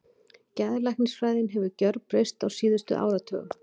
Geðlæknisfræðin hefur gjörbreyst á síðustu áratugum.